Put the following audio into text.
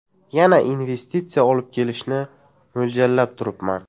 Yana investitsiya olib kelishni mo‘ljallab turibman.